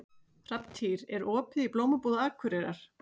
Hrafntýr, er opið í Blómabúð Akureyrar?